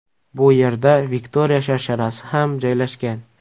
Bu yerda Viktoriya sharsharasi ham joylashgan.